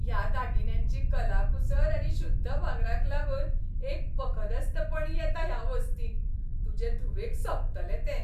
ह्या दागिन्यांची कलाकुसर आनी शुद्ध भांगराक लागून एक पखदस्तपण येता ह्या वस्तींक. तुजे धुवेक सोबतले ते.